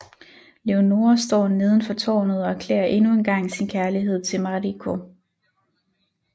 Leonora står neden for tårnet og erklærer endnu engang sin kærlighed til Marico